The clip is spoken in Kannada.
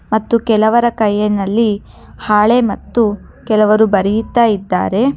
ಮತ್ತು ಕೆಲವರ ಕೈಯಿನಲ್ಲಿ ಹಾಳೆ ಮತ್ತು ಕೆಲವರು ಬರೆಯುತ್ತ ಇದ್ದಾರೆ.